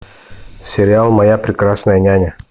сериал моя прекрасная няня